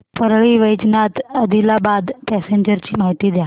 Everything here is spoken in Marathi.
परळी वैजनाथ आदिलाबाद पॅसेंजर ची माहिती द्या